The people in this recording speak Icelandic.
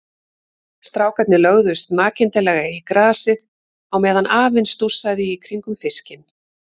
Strákarnir lögðust makindalega í grasið á meðan afinn stússaði í kringum fiskinn.